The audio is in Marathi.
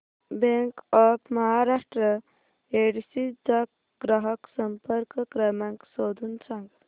बँक ऑफ महाराष्ट्र येडशी चा ग्राहक संपर्क क्रमांक शोधून सांग